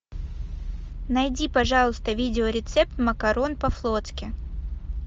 найди пожалуйста видеорецепт макарон по флотски